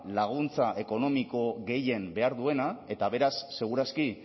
laguntza ekonomiko gehien behar duena eta beraz segur aski